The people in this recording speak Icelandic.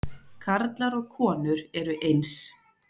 Karlar og konur eru eins